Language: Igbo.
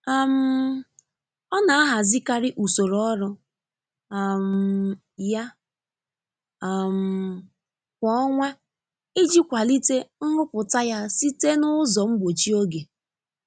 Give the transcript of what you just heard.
um Ọ n'ahazikari usoro ọrụ um ya um kwa ọnwa iji kwalite nrụpụta ya site na ụzọ mgbochi oge.